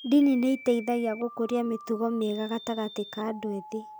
Ndini nĩ ĩteithagia gũkũria mĩtugo mĩega gatagatĩ ka andũ ethĩ.